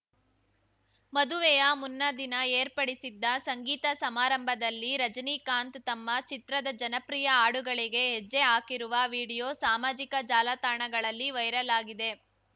ಮದುವೆಯ ಮುನ್ನಾದಿನ ಏರ್ಪಡಿಸಿದ್ದ ಸಂಗೀತ ಸಮಾರಂಭದಲ್ಲಿ ರಜನೀಕಾಂತ್‌ ತಮ್ಮ ಚಿತ್ರದ ಜನಪ್ರಿಯ ಹಾಡುಗಳಿಗೆ ಹೆಜ್ಜೆ ಹಾಕಿರುವ ವಿಡಿಯೋ ಸಾಮಾಜಿಕ ಜಾಲತಾಣಗಳಲ್ಲಿ ವೈರಲ್‌ ಆಗಿದೆ